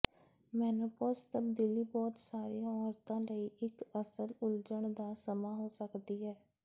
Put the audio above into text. menopause ਤਬਦੀਲੀ ਬਹੁਤ ਸਾਰੀਆਂ ਔਰਤਾਂ ਲਈ ਇਕ ਅਸਲ ਉਲਝਣ ਦਾ ਸਮਾਂ ਹੋ ਸਕਦੀ ਹੈ